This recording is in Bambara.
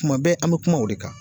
Tuma bɛɛ an mɛ kuma o de kan